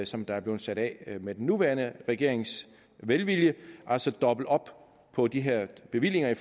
som der er blevet sat af med den nuværende regerings velvilje altså dobbelt op på de her bevillinger